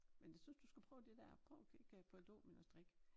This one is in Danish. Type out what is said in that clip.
Men jeg synes du skal prøve det dér prøv at kigge på dominostrik